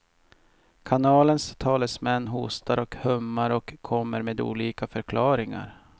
Kanalens talesmän hostar och hummar och kommer med olika förklaringar.